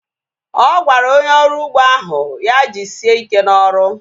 Ọ gwara onye ọrụ ugbo ahụ ya jisie ike na ọrụ